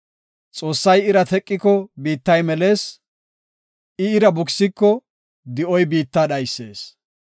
Xoossay ira teqiko biittay melees; ira bukisiko di7oy biitta dhaysees.